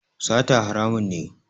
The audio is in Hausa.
Sata haramun ne